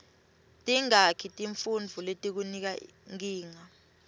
tingaki tifuntfo letikunika nkinga